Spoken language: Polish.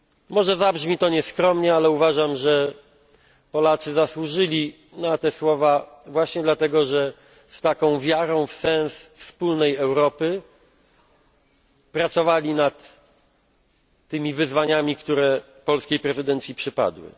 Może zabrzmi to nieskromnie, ale uważam, że Polacy zasłużyli na te słowa właśnie dlatego, że z taką wiarą w sens wspólnej Europy pracowali nad tymi wyzwaniami, które polskiej prezydencji przypadły.